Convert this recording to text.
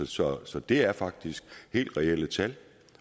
så så det er faktisk helt reelle tal